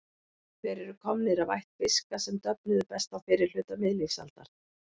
Þeir eru komnir af ætt fiska sem döfnuðu best á fyrri hluta miðlífsaldar.